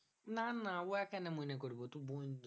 না না উহা কেন মনে করবো? তুই বন্ধু।